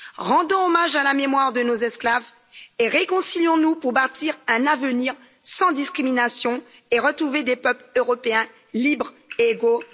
Rendons hommage à la mémoire de nos esclaves et réconcilions nous pour bâtir un avenir sans discrimination et retrouver des peuples européens libres et égaux.